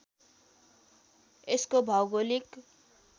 यसको भौगोलिक